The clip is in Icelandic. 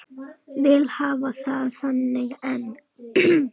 Vil hafa það þannig enn.